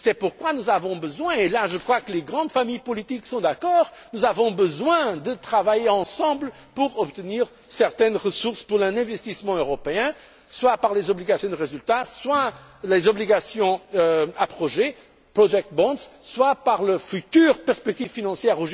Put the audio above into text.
C'est pourquoi nous avons besoin là, je crois que les grandes familles politiques sont d'accord de travailler ensemble pour obtenir certaines ressources en vue d'un investissement européen, soit par les obligations de résultat, soit par les obligations à projet project bonds soit par les futures perspectives financières.